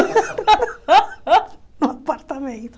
No apartamento.